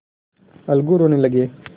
अलगू रोने लगे